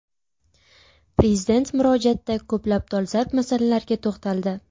Prezident murojaatda ko‘plab dolzarb masalalarga to‘xtaldi.